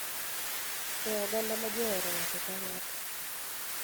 E oganda ma ji ohero ng�ato ka ng�ato,